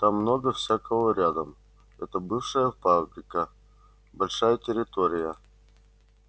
там много всякого рядом это бывшая фабрика большая территория